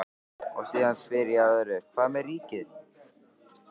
Og síðan spyr ég að öðru, hvað með ríkið?